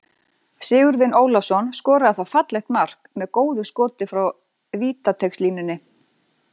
Sigurvin Ólafsson skoraði þá fallegt mark með góðu skoti frá vítateigslínunni.